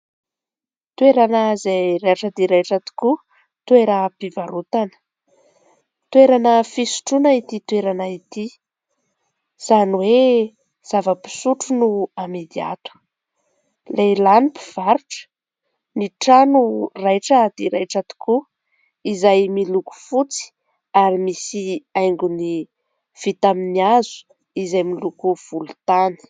Toerana izay raitra dia raitra tokoa, toeram-pivarotana. Toerana fisotroana ity toerana ity, izany hoe zava-pisotro no amidy ato. Lehilahy no mpivarotra. Ny trano raitra dia raitra tokoa, izay miloko fotsy ary misy haingony vita amin'ny hazo izay miloko volontany.